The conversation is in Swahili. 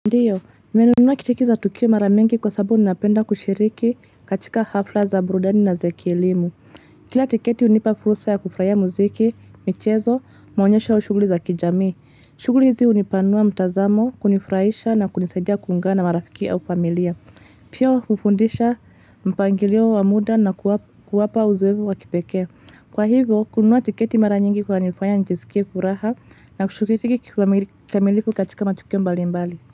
Ndiyo, nimenunua tiketi za tukio mara mingi kwa sababu ninapenda kushiriki katika hafla za burudani na za kielimu. Kila tiketi hunipa fursa ya kufurahia muziki, michezo, maonyesho au shughuli za kijamii. Shughuli hizi hunipanua mtazamo, kunifurahisha na kunisaidia kuungana na marafiki au familia. Pia hufundisha mpangilio wa muda na kuwapa uzoefu wa kipekee. Kwa hivyo, kununua tiketi mara nyingi kunanifanya nijisikie furaha na kushiriki kikamilifu katika matukio mbalimbali.